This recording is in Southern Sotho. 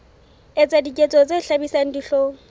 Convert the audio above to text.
etsa diketso tse hlabisang dihlong